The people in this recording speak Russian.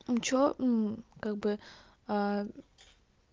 ну что ну как бы